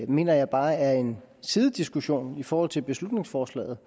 mener jeg bare er en sidediskussion i forhold til beslutningsforslaget